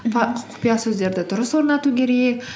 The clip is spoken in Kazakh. құпия сөздерді дұрыс орнату керек